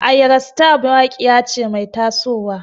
Ayra star mawaƙiya ce mai taso wa.